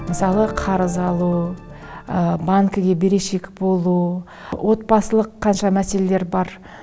мысалы қарыз алу банкіге берешек болу отбасылық қанша мәселелер бар